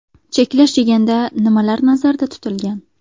Cheklash deganda nimalar nazarda tutilgan?